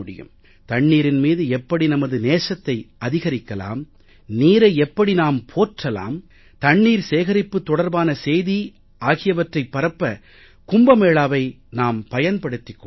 தண்ணீரின் மீது எப்படி நமது நேசத்தை அதிகரிக்கலாம் நீரை எப்படி நாம் போற்றலாம் தண்ணீர் சேகரிப்பு தொடர்பான செய்தியை ஆகியவற்றைப் பரப்ப கும்ப மேளாவை நாம் பயன்படுத்திக் கொள்ளலாம்